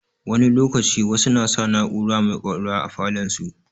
Wani lokaci, wasu na sa na'ura mai ƙwaƙwalwa a falon su.